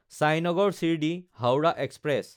Sainagar শিৰদী–হাওৰা express